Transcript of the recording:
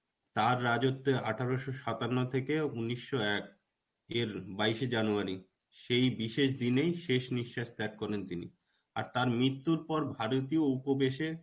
তার রাজত্বে আঠারশো সাতান্ন থেকে উনিশশো এক এর বাইশে January সেই বিশেষ দিনেই শেষ নিশ্বাস ত্যাগ করলেন তিনি. আর তার মৃত্যুর পর ভারতীয় উপবেশে